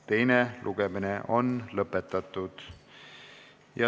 Teine lugemine on lõppenud.